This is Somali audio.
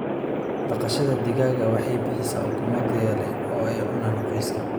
Dhaqashada digaaga waxay bixisaa ukumo tayo leh oo ay cunaan qoyska.